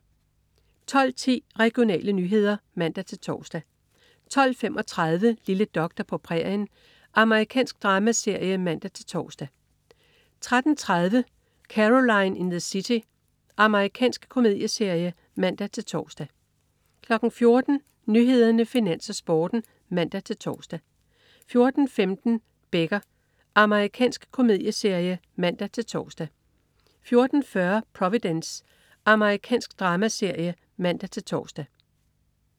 12.10 Regionale nyheder (man-tors) 12.35 Lille doktor på prærien. Amerikansk dramaserie (man-tors) 13.30 Caroline in the City. Amerikansk komedieserie (man-tors) 14.00 Nyhederne, Finans, Sporten (man-tors) 14.15 Becker. Amerikansk komedieserie (man-tors) 14.40 Providence. Amerikansk dramaserie (man-tors)